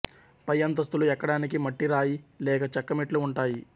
పై అంతస్తులు ఎక్కడానికి మట్టి రాయి లేక చెక్క మెట్లు ఉంటాయి